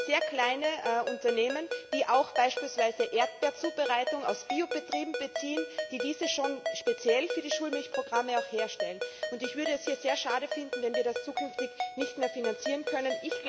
Das sind sehr kleine Unternehmen, die auch beispielsweise Erdbeerzubereitung aus Biobetrieben beziehen, die diese schon speziell für die Schulmilchprogramme auch herstellen. Ich würde es sehr schade finden, wenn wir das zukünftig nicht mehr finanzieren können.